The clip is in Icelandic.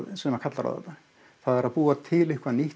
sem kalli á þetta að búa til eitthvað nýtt